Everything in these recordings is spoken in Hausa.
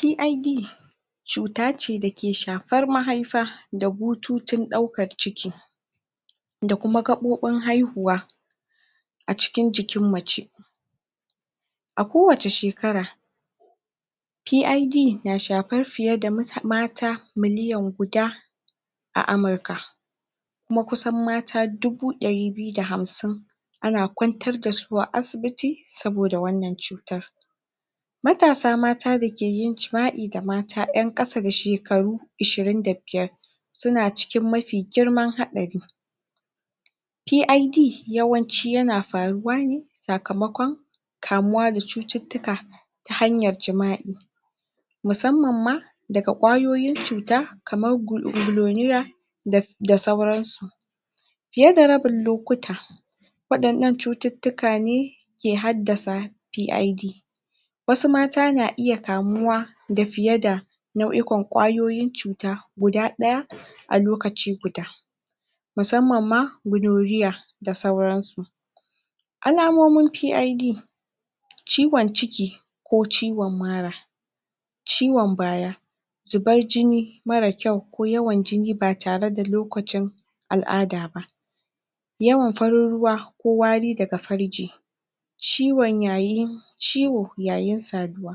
PID cuta ce da ke shafar mahaifa da bututun ɗaukar ciki da kuma gaɓoɓin haihuwa a cikin jikin mutum a kowace shekara PID na shafar fiye da mata miliyan guda a Amurka kuma kusan mata dubu ɗari da hamsin ana kwantar da su a asibiti saboda wannan cutar matasa mata da ke yin jima'i da mata ƴan kasa da shekaru ishirin da biyar suna cikin mafi girman haɗari PID yawanci yana faruwa ne sakamakon kamuwa da cututtuka hanyar jima'i musamman ma daga ƙwayoyin cuta kamar gnorrea da sauransu fiye da rabin lokuta waɗannan cututtuka ne ke haddasa PID wasu mata na iya kamuwa da fiye da nau'ikan ƙwayoyin cuta guda ɗaya a lokaci guda musamman ma gnorrea ga sauransu. Alamomin PID ciwon ciki ko ciwon mara. ciwon baya zubar jini marar kyau, ko yawan jini ba tare da lokacin al'ada ba. yawan farin ruwa ko wari daga farji ciwo yayin saduwa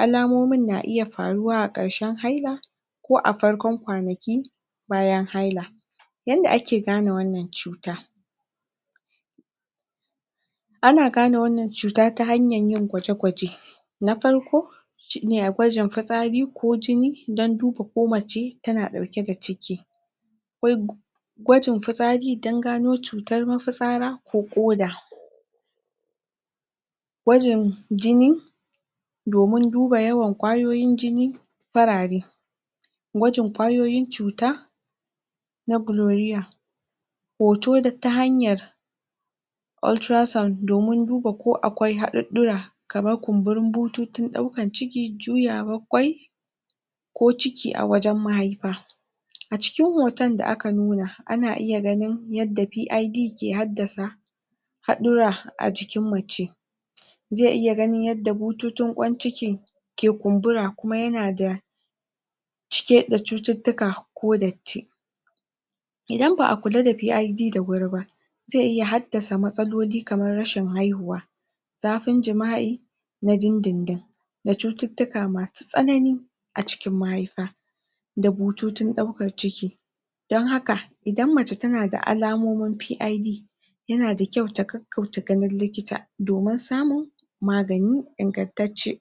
alamomin na iya faruwa a ƙarshen haila ko a farkon kwanaki bayan haila yanda ake gane wannan cuta. ana gane wanna cuta ta hanyar yin gwaje-gwaje na farko shi ne akwai jan fitsari ko jini don duba mace ko tana ɗauke da ciki akwai gwajin fitsari don gano cutar mafitsara ko ƙoda. gwajin jini domin duba yawan ƙwayoyin jini farare. Gwajin ƙwayoyin cuta na gloria hoto ta hanyar ultrasound domin duba ko akwai haɗuɗɗura. kamar kumburin bututun ɗaukar ciki, juyawar ƙwai, ko ciki a wajen mahaifa a cikin hoton da aka nuna, ana ganin yadda PID ke haddasa haɗurra a jikin mace zai iya ganin yadda bututun ƙwan ciki ke kumbura kuma yana da cike da cututtuka ko datti idan ba a kula da PID da wuri ba, zai iya haddasa matsaloli kamar rashin haihuwa zafin jima'i na dindindin da cututtuka masu tsanani a cikin mahaifa da bututun ɗaukar ciki don haka idan mace tana da alamomin PID yana da kayu ta gaggauta ganin likita domin samun magani ingantacce.